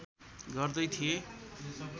गर्दै थिए